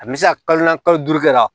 A me se ka kalo naani kalo duuru kɛ ka